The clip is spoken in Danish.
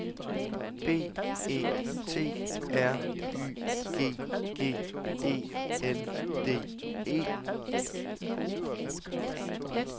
B E T R Y G G E N D E